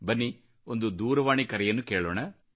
ಬನ್ನಿ ಒಂದು ದೂರವಾಣಿ ಕರೆಯನ್ನು ಕೇಳೋಣ